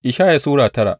Ishaya Sura tara